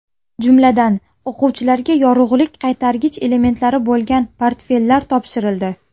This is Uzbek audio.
Jumladan, o‘quvchilarga yorug‘lik qaytargich elementlari bo‘lgan portfellar topshirildi.